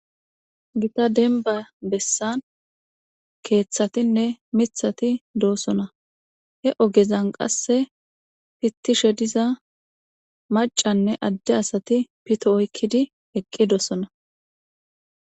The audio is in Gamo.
Gita demba besan kethatine mitati dosona he ogezan qase pitishe diza mac'anne ade asati pito oyqidi eqidosona.